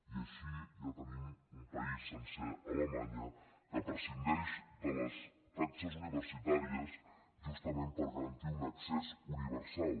i així ja tenim un país sencer alemanya que prescindeix de les taxes universitàries justament per garantir un accés universal